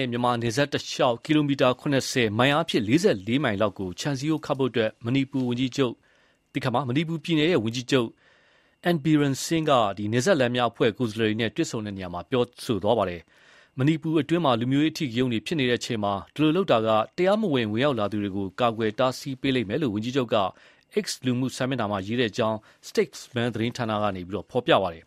ဲ့မြန်မာ နယ်စပ်တလျှောက် ကီလို ၇၀၊ မိုင်အားဖြင့် ၄၄ မိုင်လောက် ကို ခြံစည်းရိုးခတ်ဖို့ မဏိပူရ ပြည်နယ်ဝန်ကြီးချုပ် အင်န် ဘီရင် ဆင်း (N Biren Singh) က နယ်စပ်လမ်းများအဖွဲ့ ကိုယ်စားလှယ်တွေနဲ့တွေ့ဆုံရာမှာ ပြောကြားလိုက်ပါတယ်။ မဏိပူရအတွင်း လူမျိုးရေးအဓိကရုဏ်းတွေဖြစ်နေတဲ့အချိန်မှာ ဒီလိုလုပ်တာက တရားမဝင် ဝင်ရောက်လာသူတွေကို တားဆီးပေးလိမ့်မယ်လို့ ဝန်ကြီးချုပ်က X လူမှုစာမျက်နှာမှာ ရေးထားကြောင်း STATESMAN သတင်းဌာန သတင်းက ပြောပါတယ်။